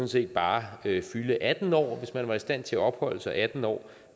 set bare være fyldt atten år hvis man var i stand til at opholde sig atten år